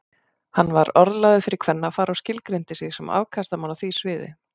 Hann var orðlagður fyrir kvennafar og skilgreindi sig sem afkastamann á því sviði.